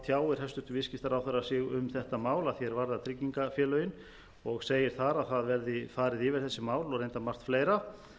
tjáir hæstvirtur viðskiptaráðherra sig um þetta mál að því er varðar tryggingafélögin og segir þar að það verði farið yfir þessi mál og reyndar margt fleira